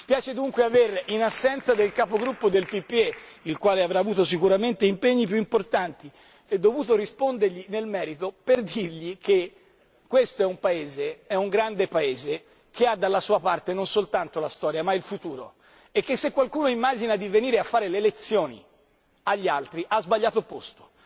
Mi spiace dunque avere in assenza del capogruppo del PPE, il quale avrà avuto sicuramente impegni più importanti, dovuto rispondergli nel merito per dirgli che questo è un Paese è un grande Paese che ha dalla sua parte non soltanto la storia, ma il futuro, e che se qualcuno immagina di venire a fare le lezioni agli altri ha sbagliato posto.